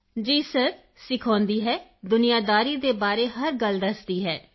Kritika ji sir ਸਿਖਾਉਂਦੀ ਹੈ ਦੁਨੀਆਦਾਰੀ ਦੇ ਬਾਰੇ ਹਰ ਗੱਲ ਦੱਸਦੀ ਹੈ